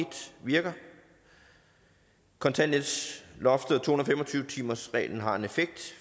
virker kontanthjælpsloftet og to hundrede og fem og tyve timersreglen har en effekt